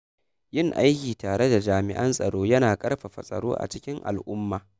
Yin aiki tare da jami’an tsaro yana ƙarfafa tsaro a cikin al’umma.